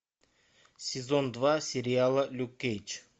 сезон два сериала люк кейдж